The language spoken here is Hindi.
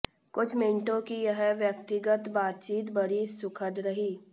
कुछ मिनटों की यह व्यक्तिगत बातचीत बड़ी सुखद रही